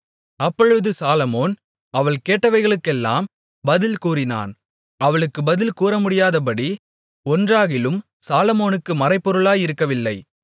அப்பொழுது சாலொமோன் அவள் கேட்டவைகளுக்கெல்லாம் பதில் கூறினான் அவளுக்கு பதில் கூறமுடியாதபடி ஒன்றாகிலும் சாலொமோனுக்கு மறைபொருளாயிருக்கவில்லை